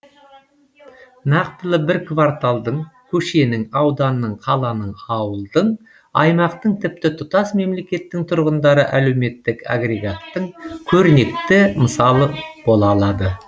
нақтылы бір кварталдың көшенің ауданның қаланың ауылдың аймақтың тіпті тұтас мемлекеттің тұрғындары әлеуметтік агрегаттың көрнекті мысалы бола алады